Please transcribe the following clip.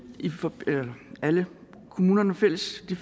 alle kommunernes fælles i